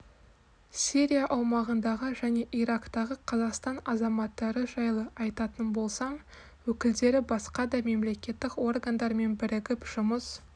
сирия аумағындағы және ирактағы қазақстан азаматтары жайлы айтатын болсам өкілдері басқа да мемлекеттік органдармен бірігіп жұмыс